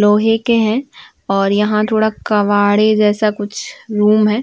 लोहें के हैं और यहाँ थोडा कबाड़े जैसा कुछ रूम है।